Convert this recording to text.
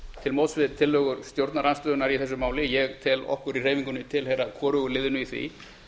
til móts við tillögur stjórnarandstöðunnar í þessu máli ég tel okkur í hreyfingunni tilheyra hvorugu liðinu í því